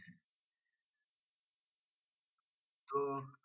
তো